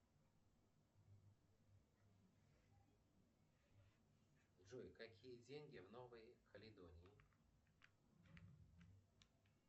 джой какие деньги в новой калидонии